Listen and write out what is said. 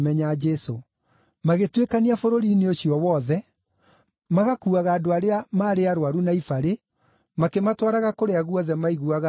Magĩtuĩkania bũrũri-inĩ ũcio wothe magakuuaga andũ arĩa maarĩ arũaru na ibarĩ, makĩmatwaraga kũrĩa guothe maiguaga atĩ nĩkuo arĩ.